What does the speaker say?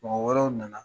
Mɔgɔ wɛrɛw nana